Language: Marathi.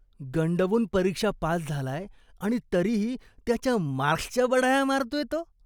गंडवून परीक्षा पास झालाय आणि तरीही त्याच्या मार्क्सच्या बढाया मारतोय तो.